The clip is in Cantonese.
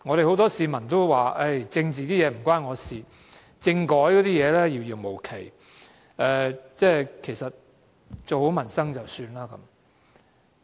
很多市民都說政治與他無關，政改一事遙遙無期，做好民生便可以了。